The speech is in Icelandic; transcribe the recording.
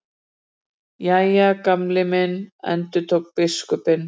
Jæja, Gamli minn endurtók biskupinn.